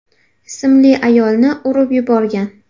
ismli ayolni urib yuborgan.